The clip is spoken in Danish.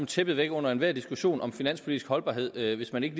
tæppet væk under enhver diskussion om finanspolitisk holdbarhed hvis man ikke